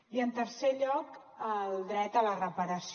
i en tercer lloc el dret a la reparació